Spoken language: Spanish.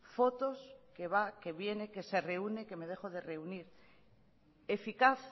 fotos que va que viene que se reúne que me dejo de reunir eficaz